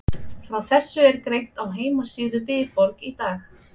Frá þessu er greint á heimasíðu Viborg í dag.